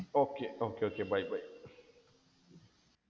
okay okay okay bye bye